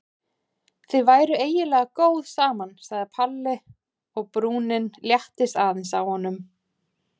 Þið væruð eiginlega góð saman sagði Palli og brúnin léttist aðeins á honum.